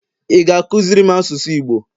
ị ga-akụziri m asụsụ igbo?